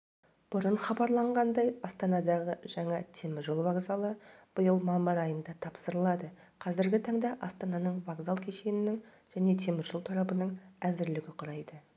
бұрын хабарланғандай астанадағы жаңа темір жол вокзалы биыл мамыр айында тапсырылады қазіргі таңда астананың вокзал кешенінің және теміржол торабының әзірлігі құрайды